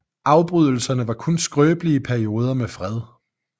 Afbrydelserne var kun skrøbelige perioder med fred